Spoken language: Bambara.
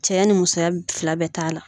Cɛya ni musoya fila bɛ t'a la.